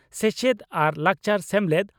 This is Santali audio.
ᱥᱮᱪᱮᱫ ᱟᱨ ᱞᱟᱠᱪᱟᱨ ᱥᱮᱢᱞᱮᱫ